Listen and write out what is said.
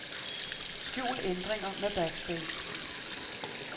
Skjul ændringer med backspace.